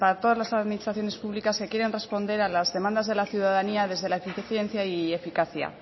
todas las administraciones públicas que quieren responder a las demandas de la ciudadanía desde la eficiencia y eficacia